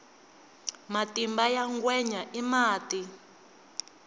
matimba ya ngwenya i mati